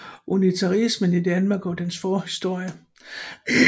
Unitarismen i Danmark og dens forhistorie